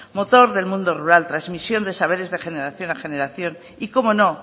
motor del mundo rural transmisión de saberes de generación a generación y cómo no